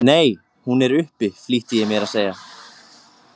Nei, hún er uppi, flýtti ég mér að segja.